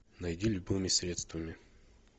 найди любыми средствами